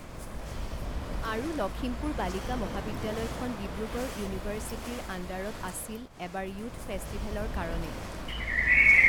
আৰু লখিমপুৰ বালিকা মহাবিদ্যালয়খন ডিব্ৰুগড় ইউনিভাৰ্ছিটিৰ আণ্ডাৰত আছিল এবাৰ য়ুথ ফেষ্টিভেলৰ কাৰণে